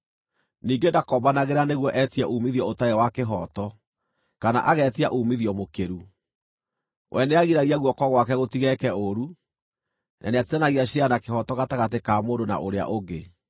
Ningĩ ndakombanagĩra nĩguo etie uumithio ũtarĩ wa kĩhooto, kana agetia uumithio mũkĩru. We nĩagiragia guoko gwake gũtigeeke ũũru, na nĩatuithanagia ciira na kĩhooto gatagatĩ ka mũndũ na ũrĩa ũngĩ.